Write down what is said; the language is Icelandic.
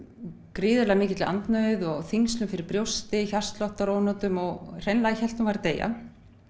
gríðarlega mikilli andnauð og þyngslum fyrir brjósti hjartsláttar ónotum og hreinlega hélt hún væri að deyja